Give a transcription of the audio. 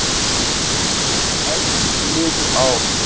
Og enn liðu ár.